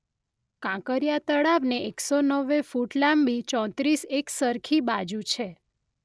કાંકરિયા તળાવને એક સો નેવુ ફુટ લાંબી ચોત્રીસ એકસરખી બાજુ છે.